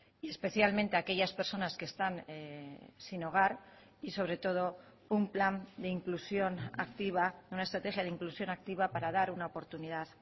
y especialmente aquellas personas que están sin hogar y sobre todo un plan de inclusión activa una estrategia de inclusión activa para dar una oportunidad